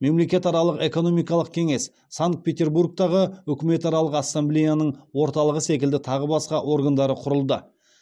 мемлекетаралық экономикалық кеңес санкт петербургтағы үкіметаралық ассамблеяның орталығы секілді тағы басқа органдары құрылды